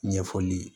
Ɲɛfɔli ye